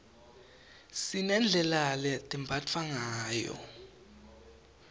sinedlela letembatfwa ngayo